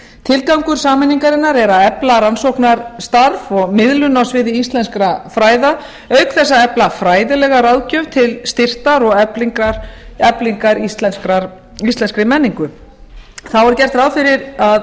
tilgangur sameiningarinnar er að efla rannsóknarstarf og miðlun á sviði íslenskra fræða auk þess að efla fræðilega ráðgjöf til styrktar og eflingar íslenskri menningu þá er gert ráð fyrir að